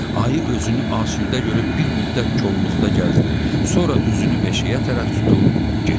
Ayı özünü asudə görüb bir müddət kolluqda gəzdi, sonra üzünü meşəyə tərəf tutub getdi.